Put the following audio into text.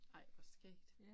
Ej hvor skægt